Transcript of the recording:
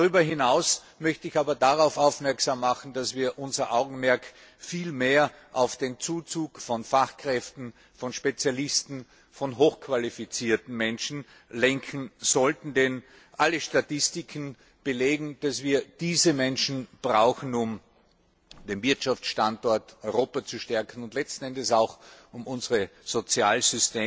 Darüber hinaus möchte ich aber darauf aufmerksam machen, dass wir unser Augenmerk viel stärker auf den Zuzug von Fachkräften, von Spezialisten, von hochqualifizierten Menschen lenken sollten, denn alle Statistiken belegen, dass wir diese Menschen brauchen, um den Wirtschaftsstandort Europa zu stärken und letzten Endes auch um unsere Sozial